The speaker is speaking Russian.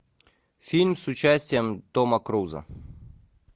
фильм с участием тома круза